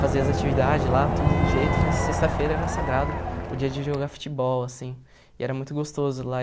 fazer as atividades lá, tudo do jeito, mas sexta-feira era sagrado o dia de jogar futebol, assim, e era muito gostoso lá.